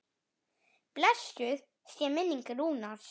Blessuð sé minning Rúnars.